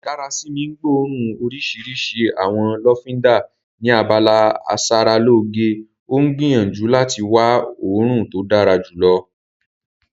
Darasimi ń gbóòórùn orísìírísìí àwọn lọ́fíńdà ni abala ìsaralóge, ó ń gbìyànjú láti wá òórùn tó dára jùlọ.